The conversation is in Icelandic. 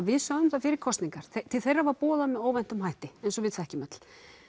við sögðum það fyrir kosningar til þeirra var boðað með óvæntum hætti eins og við þekkjum öll